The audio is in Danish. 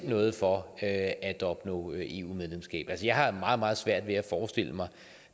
noget for at at opnå eu medlemskab altså jeg har meget meget svært ved at forestille mig